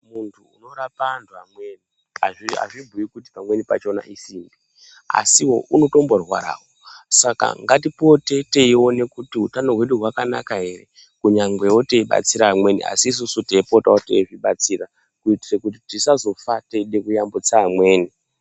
Muntu unorapa antu amweni azvibhuyi kuti pamweni pachona isimbi asiwo unotomborwarawo Saka ngatipote teiona kuti utano hwedu hwakanaka ere kunyangwewo teibatsira amweni asi isusu teipotawo yeizvibatsira kuitira kuti tisazofa Teide kuyambutsa amweni.